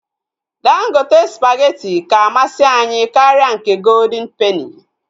Dangote spageti ka amasị anyị karịa nke goldịn peni